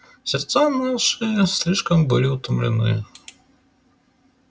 сердца наши слишком были утомлены